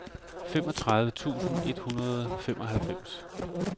femogtredive tusind et hundrede og femoghalvfems